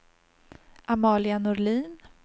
Amalia Norlin